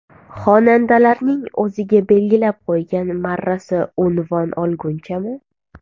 Xonandalarning o‘ziga belgilab qo‘ygan marrasi unvon olgunchami?